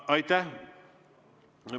Aitäh!